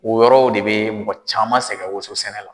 O yɔrɔw de bɛ mɔgɔ caman sɛgɛn woso sɛnɛ la.